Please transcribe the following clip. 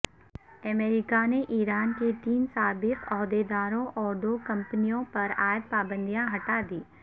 امریکہ نے ایران کے تین سابق عہدیداروں اور دو کمپنیوں پرعائد پابندیاں ہٹا دیں